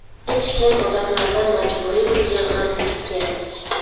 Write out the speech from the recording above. Hech kim odamlardan majburiy pul yig‘masligi kerak.